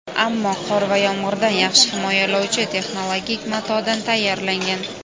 ammo qor va yomg‘irdan yaxshi himoyalovchi texnologik matodan tayyorlangan.